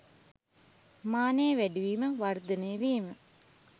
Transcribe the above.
මානය වැඩිවීම, වර්ධනය වීම